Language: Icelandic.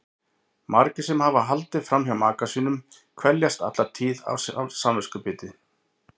Margir sem hafa haldið fram hjá maka sínum kveljast alla tíð af samviskubiti.